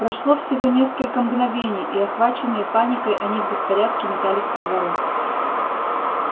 прошло всего несколько мгновений и охваченные паникой они в беспорядке метались по двору